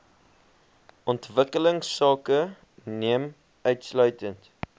ontwikkelingsake neem insluitend